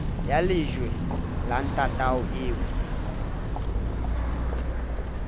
ya lejwe la ntatao eo